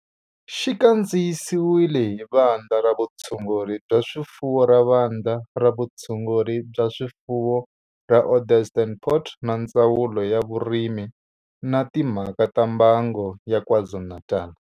Xi kandziyisiwe hi Vandla ra Vutshunguri bya swifuwo ra Vandla ra Vutshunguri bya swifuwo ra Onderstepoort na Ndzawulo ya Vurimi na Timhaka ta Mbango ya KwaZulu-Natal.